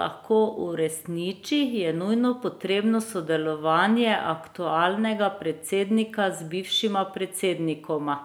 lahko uresniči, je nujno potrebno sodelovanje aktualnega predsednika z bivšima predsednikoma.